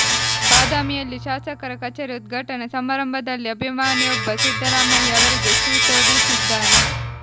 ಬಾದಾಮಿಯಲ್ಲಿ ಶಾಸಕರ ಕಚೇರಿ ಉದ್ಘಾಟನಾ ಸಮಾರಂಭದಲ್ಲಿ ಅಭಿಮಾನಿಯೊಬ್ಬ ಸಿದ್ದರಾಮಯ್ಯ ಅವರಿಗೆ ಶೂ ತೊಡಿಸಿದ್ದಾನೆ